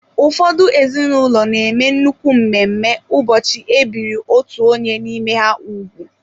Ụfọdụ ezinụlọ na-eme nnukwu mmemme ụbọchị e biri otú onye n'ime ha ugwu.